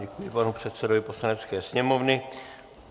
Děkuji panu předsedovi Poslanecké sněmovny.